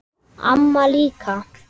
Amma líka.